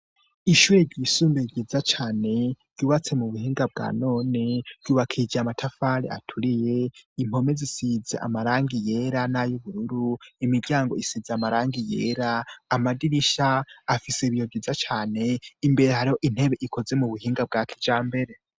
Ishuri ryisumbie giza cane ryubatse mu buhinga bwa none ryubakije amatafare aturiye impome zisize amarangi yera n'ayoubururu imiryango isize amarangi yera amadirisha afise ibiyo byiza cane imbere hari ho intebe ikoze mu buhinga bwa kija mbere.